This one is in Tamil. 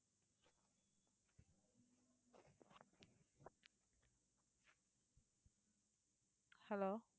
hello